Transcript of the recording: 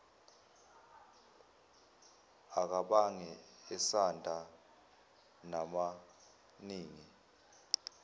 akabange esanda namaningi